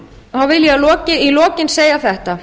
þá vil ég í lokin segja þetta